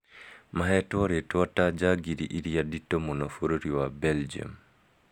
"mahetwo ritwa ta njangiri iria nditu mũno bũrũri wa belgium"